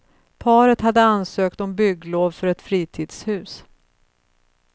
Paret hade ansökt om bygglov för ett fritidshus.